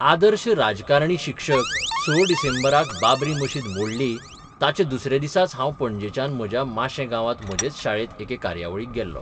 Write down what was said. आदर्श 'राजकारणी शिक्षक 6 डिसेंबराक बाबरी मशीद मोडली ताच्या दुसऱ्या दिसाच हांव पणजेच्यान म्हज्या माशें गांवांत म्हजेच शाळेत एके कार्यावळीक गेल्लों.